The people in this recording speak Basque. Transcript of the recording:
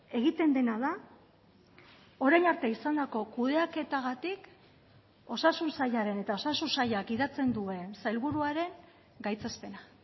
egiten dena da orain arte izandako kudeaketagatik osasun sailaren eta osasun sailak gidatzen duen sailburuaren gaitzespena